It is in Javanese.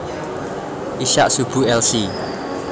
Ishak Subu Lc